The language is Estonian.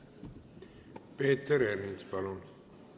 Peeter Ernits, palun!